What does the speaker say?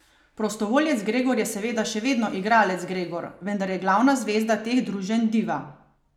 Prostovoljec Gregor je seveda še vedno igralec Gregor, vendar je glavna zvezda teh druženj Diva.